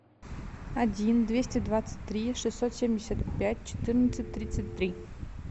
один двести двадцать три шестьсот семьдесят пять четырнадцать тридцать три